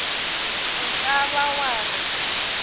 o ka ba wa re